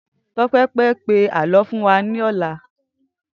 Tope fè pé àlõ fún wà lòlá